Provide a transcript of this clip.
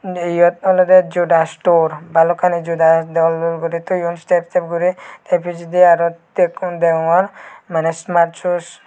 iyot olodey joda store balokkani joda dol dol guri toyon step step guri tey pijedi aro tekkun degongor maneh ismars shoes.